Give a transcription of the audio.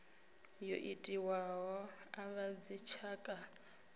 yo itiwaho a vhadzitshaka u